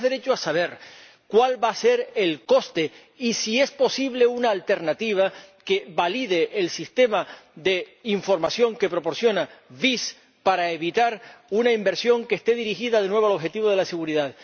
Tenemos derecho a saber cuál va a ser el coste, y si es posible una alternativa que valide el sistema de información que proporciona DIS para evitar una inversión que esté dirigida de nuevo al objetivo de la seguridad.